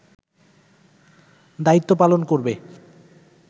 দায়িত্ব পালন করবে